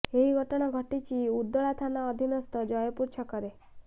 ଏହି ଘଟଣା ଘଟିଛି ଉଦଳା ଥାନା ଅଧିନସ୍ଥ ଜୟପୁର ଛକରେ